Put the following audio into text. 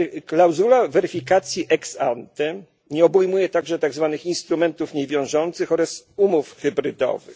Klauzula weryfikacji ex ante nie obejmuje także tak zwanych instrumentów niewiążących oraz umów hybrydowych.